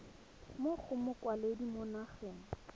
mo go mokwaledi mo nageng